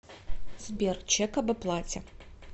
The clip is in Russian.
сбер чек об оплате